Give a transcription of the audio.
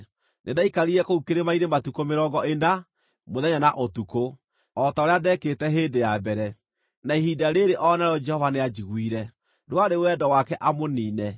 Nĩndaikarire kũu kĩrĩma-inĩ matukũ mĩrongo ĩna, mũthenya na ũtukũ, o ta ũrĩa ndeekĩte hĩndĩ ya mbere, na ihinda rĩĩrĩ o narĩo Jehova nĩanjiguire. Ndwarĩ wendo wake amũniine.